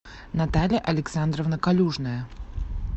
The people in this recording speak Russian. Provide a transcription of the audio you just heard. наталья александровна калюжная